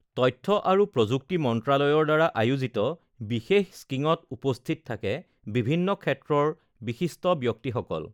তথ্য আৰু প্ৰযুক্তি মন্ত্ৰালয়ৰ দ্বাৰা আয়োজিত বিশেষ স্ক্ৰীঙত উপস্থিত থাকে বিভিন্ন ক্ষেত্ৰৰ বিশিষ্ট ব্যক্তিসকল